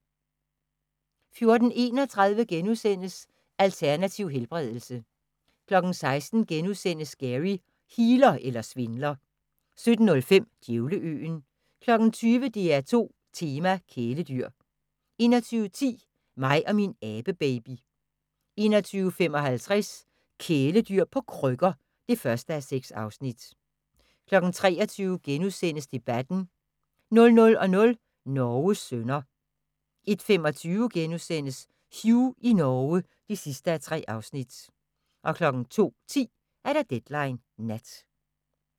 14:31: Alternativ helbredelse * 16:00: Gary – healer eller svindler? * 17:05: Djævleøen 20:00: DR2 Tema: Kæledyr 21:10: Mig og min abebaby 21:55: Kæledyr på krykker (1:6) 23:00: Debatten * 00:00: Norges sønner 01:25: Hugh i Norge (3:3)* 02:10: Deadline Nat